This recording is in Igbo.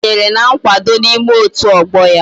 O kwenyere na nkwado na ime otu ogbo ya.